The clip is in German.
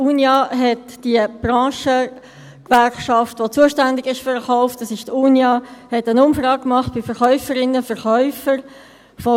Die Unia – das ist die Branchengewerkschaft, die für den Verkauf zuständig ist – hat eine Umfrage bei Verkäuferinnen und Verkäufern gemacht.